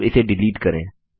अब इसे डिलीट करें